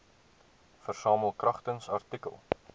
versamel kragtens artikel